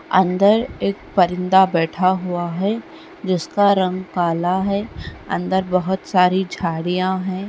अंदर एक परिंदा बैठा हुआ है जिसका रंग काला है अंदर बहुत सारी झाड़ियाँ हैं।